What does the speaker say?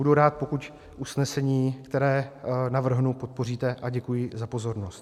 Budu rád, pokud usnesení, které navrhnu, podpoříte, a děkuji za pozornost.